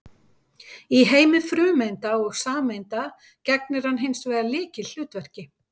Í heimi frumeinda og sameinda gegnir hann hins vegar lykilhlutverki.